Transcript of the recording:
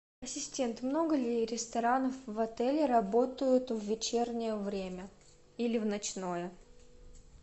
ассистент много ли ресторанов в отеле работают в вечернее время или в ночное